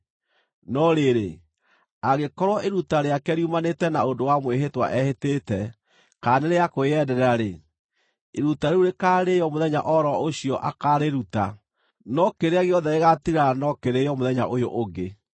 “ ‘No rĩrĩ, angĩkorwo iruta rĩake riumanĩte na ũndũ wa mwĩhĩtwa ehĩtĩte, kana nĩ rĩa kwĩyendera-rĩ, iruta rĩu rĩkaarĩĩo mũthenya o ro ũcio akaarĩruta, no kĩrĩa gĩothe gĩgaatigara no kĩrĩĩo mũthenya ũyũ ũngĩ.